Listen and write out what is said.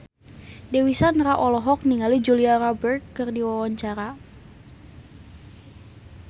Dewi Sandra olohok ningali Julia Robert keur diwawancara